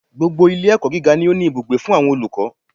Gbogbo Ilé ẹ̀kọ́ gíga ni ó ní ibùgbé fún àwọn olùkọ́